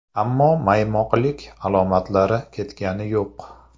Ammo maymoqlik alomatlari ketgani yo‘q.